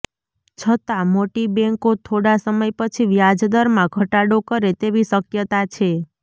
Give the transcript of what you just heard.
છતાં મોટી બેન્કો થોડા સમય પછી વ્યાજદરમાં ઘટાડો કરે તેવી શક્યતા છે